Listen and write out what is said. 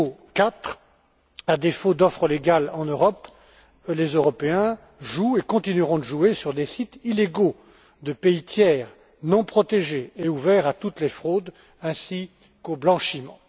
Quatrièmement, à défaut d'offres légales en Europe, les Européens jouent et continueront de jouer sur des sites illégaux de pays tiers, non protégés et ouverts à toutes les fraudes ainsi qu'au blanchiment.